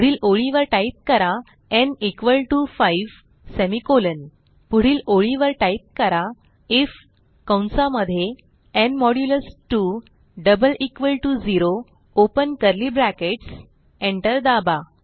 पुढील ओळीवर टाईप करा न् 5 सेमिकोलॉन पुढील ओळीवर टाईप करा आयएफ कंसा मध्ये न् modulus 2 double equal to 0 open curly brackets न् 2 0 एंटर दाबा